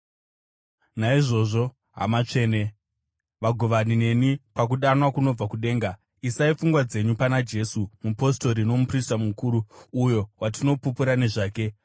Naizvozvo, hama tsvene, vagovani neni pakudanwa kunobva kudenga, isai pfungwa dzenyu pana Jesu, Mupostori nomuprista mukuru uyo watinopupura nezvake.